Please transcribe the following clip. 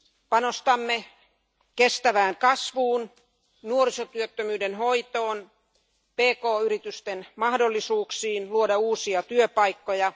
Panostamme kestävään kasvuun, nuorisotyöttömyyden hoitoon ja pk yritysten mahdollisuuksiin luoda uusia työpaikkoja.